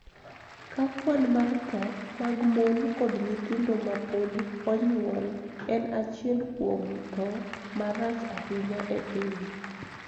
Ka kwan mar tho mag mon kod nyithindo ma pod onyuol en achiel kuom tho ma rach ahinya e piny.